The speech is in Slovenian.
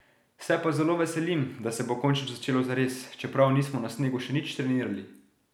Se pa zelo veselim, da se bo končno začelo zares, čeprav nismo na snegu še nič trenirali.